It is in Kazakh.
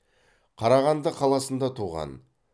қарағанды қаласында туған